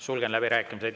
Sulgen läbirääkimised.